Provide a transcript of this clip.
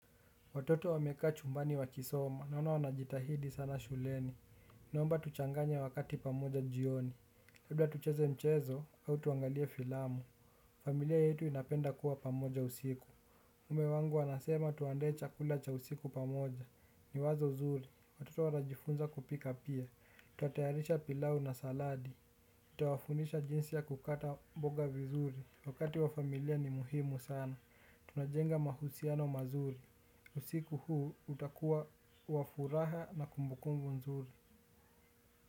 Watoto wamekaa chumbani wakisoma naona wanajitahidi sana shuleni. Naomba tuchanganye wakati pamoja jioni labda tucheze mchezo au tuangalie filamu. Familia yetu inapenda kuwa pamoja usiku. Mke wangu wanasema tuandae chakula cha usiku pamoja. Ni wazo zuri. Watoto wanajifunza kupika pia. Tutayarisha pilau na saladi nitawafundisha jinsi ya kukata mboga vizuri. Wakati wa familia ni muhimu sana. Tunajenga mahusiano mazuri. Usiku huu utakua wa furaha na kumbukumbu nzuri.